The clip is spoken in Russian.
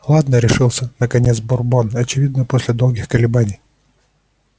ладно решился наконец бурбон очевидно после долгих колебаний